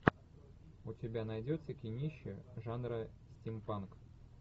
у тебя найдется кинище жанра стимпанк